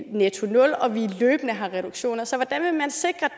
nettonul og at vi løbende har reduktioner så hvordan vil man sikre